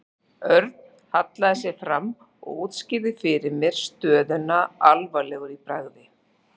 Örn hallaði sér fram og útskýrði fyrir mér stöðuna alvarlegur í bragði.